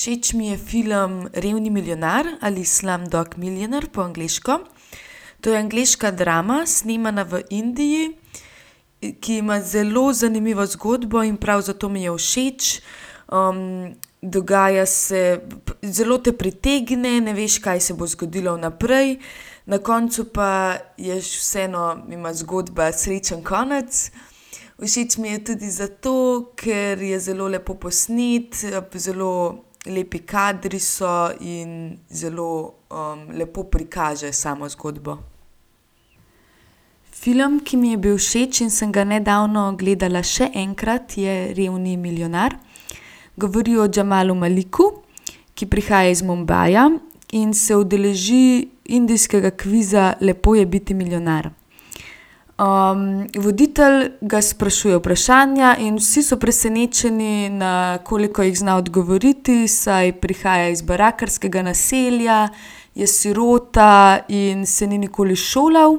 Všeč mi je film Revni milijonar ali Slumdog millionaire po angleško. To je angleška drama, snemana v Indiji, ki ima zelo zanimivo zgodbo in prav zato mi je všeč. dogaja se, zelo te pritegne, ne veš, kaj se bo zgodilo naprej, na koncu pa je vseeno, ima zgodba srečen konec. Všeč mi je tudi zato, ker je zelo lepo posnet, zelo lepi kadri so in zelo, lepo prikaže samo zgodbo. Film, ki mi je bil všeč in sem ga nedavno gledala še enkrat, je Revni milijonar. Govori o Jamalu Maliku, ki prihaja iz Mumbaja in se udeleži indijskega kviza Lepo je biti milijonar. voditelj ga sprašuje vprašanja in vsi so presenečeni, na koliko jih zna odgovoriti, saj prihaja iz barakarskega naselja, je sirota in se ni nikoli šolal.